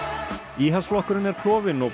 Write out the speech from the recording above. íhaldsflokkurinn er klofinn og